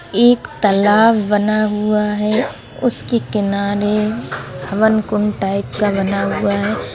एक तालाब बना हुआ है उसके किनारे हवन कुंड टाइप का बना हुआ है।